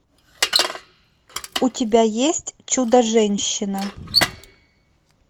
у тебя есть чудо женщина